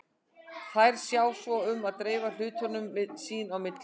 Þær sjá svo um að dreifa hlutunum sín á milli.